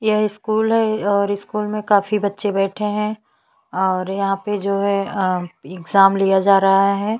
यह स्कूल है और स्कूल में काफी बच्चे बैठे है और यहाँ पे जो है अ एग्ज़ैम लिया जा रहा है।